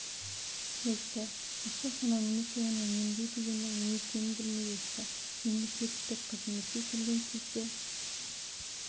өсті ақша санау немесе оны үнемдеу дегеннің не екенін білмей өсті мемлекекеттік қызметке келген кезде